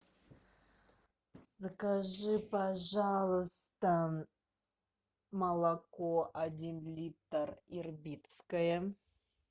закажи пожалуйста молоко один литр ирбитское